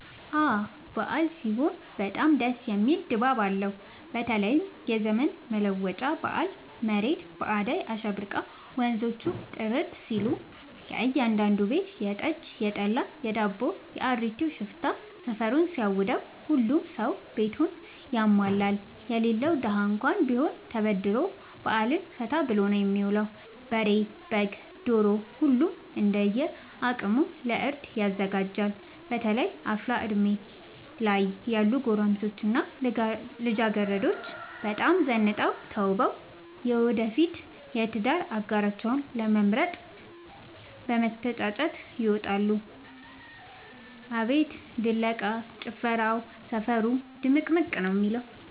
አበዓል ሲሆን በጣም ደስ የሚል ድባብ አለው በተለይም የዘመን መለወጫ በአል መሬት በአዳይ አሸብርቃ ወንዞቹ ጥርት ሲሉ ከእያዳዱ ቤት የጠጅ፣ የጠላ የዳቦው።፣ የአሪቲው ሽታ ሰፈሩን ሲያውደው። ሁሉም ሰው ቤቱን ያሟላል የሌለው ደሀ እንኳን ቢሆን ተበድሮ በአልን ፈታ ብሎ ነው የሚውለው። በሬ፣ በግ፣ ዶሮ ሁሉም እንደየ አቅሙ ለእርድ ያዘጋጃል። በተለይ አፍላ እድሜ ላይ ያሉ ጎረምሶች እና ልጃገረዶች በጣም ዘንጠው ተውበው የወደፊት የትዳር አጋራቸውን ለመምረጥ ለመተጫጨት ይወጣሉ። አቤት ድለቃ፣ ጭፈራው ሰፈሩ ድምቅምቅ ነው የሚለው።